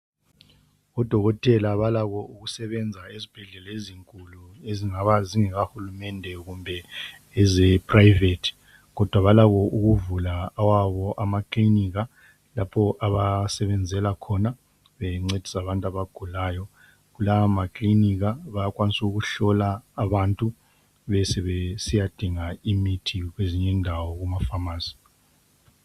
Odokotela balakho okusebenza ezibhedlela ezinkulu okungaba ngezikahulumende loba iprivate kodwa balakho ukuvula awabo amaclinika lapho abasebenzela khona bengcedisa abantu abagulayo lawa maclinika bayakwanisa ukuhlola abantu besebesiya dinga imithi kwezinye indawo kumaPhamacy